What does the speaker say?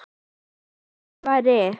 Þykkar varir.